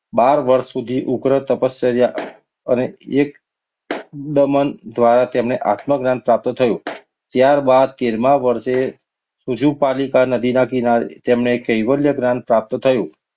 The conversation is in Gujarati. બાર વર્ષ સુધી ઉગ્ર તપશ્ચર્યા અને એક દ્વારા તેમની આત્મજ્ઞાન પ્રાપ્ત થયું. ત્યારબાદ તેરમા વર્ષે નદી કિનારી તેમને કૈવલ્ય જ્ઞાન પ્રાપ્ત થયું.